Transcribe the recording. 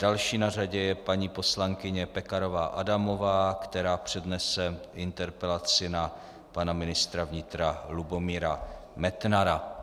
Další na řadě je paní poslankyně Pekarová Adamová, která přednese interpelaci na pana ministra vnitra Lubomíra Metnara.